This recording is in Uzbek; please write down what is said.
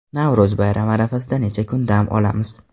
Navro‘z bayrami arafasida necha kun dam olamiz?.